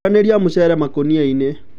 Thuranĩria mũcere makũniainĩ.